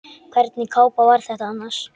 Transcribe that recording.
Hvernig kápa var þetta annars?